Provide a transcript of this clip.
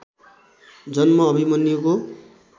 जन्म अभिमन्युको